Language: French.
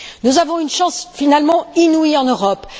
Nous avons une chance finalement inouïe en Europe.